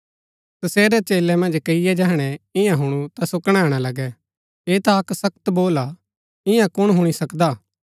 तसेरै चेलै मन्ज कईये जैहणै ईयां हुणु ता सो कणैणा लगै ऐह ता अक्क सख्त बोल हा ईयां कुण हुणी सकदा